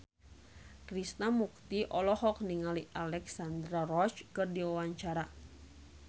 Krishna Mukti olohok ningali Alexandra Roach keur diwawancara